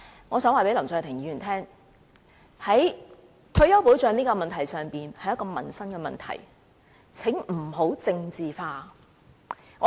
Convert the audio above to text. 我想告訴林卓廷議員，退休保障問題是一個民生問題，請不要把它政治化。